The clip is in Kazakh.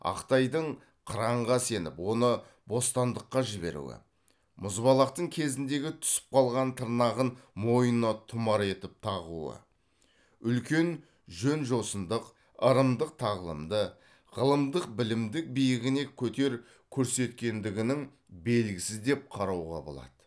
ақтайдың қыранға сеніп оны бостандыққа жіберуі мұзбалақтың кезіндегі түсіп қалған тырнағын мойнына тұмар етіп тағуы үлкен жөн жосындық ырымдық тағлымды ғылымдық білімдік биігіне көтер көрсеткендігінің белгісі деп қарауға болады